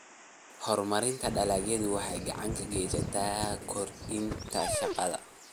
Horumarinta dalagyadu waxay gacan ka geysataa kordhinta shaqada.